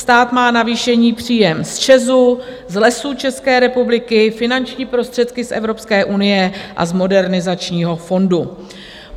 Stát má navýšený příjem z ČEZu, z Lesů České republiky, finanční prostředky z Evropské unie a z Modernizačního fondu.